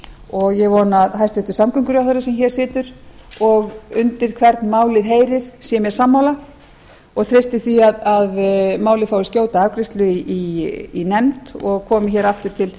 og ég vona að hæstvirtur samgönguráðherra sem hér situr og undir hvern málið heyrir sé mér sammála og treysti því að málið fái skjóta afgreiðslu í nefnd og komi hér aftur til